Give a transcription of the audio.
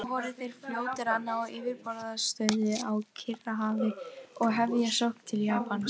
Því voru þeir fljótir að ná yfirburðastöðu á Kyrrahafi og hefja sókn til Japans.